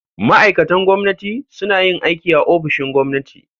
Ma'aikatan gwamnati suna yin aiki a ofishin gwamnati.